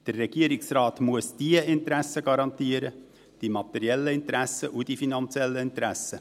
Der Regierungsrat muss diese Interessen garantieren, die materiellen und die finanziellen Interessen.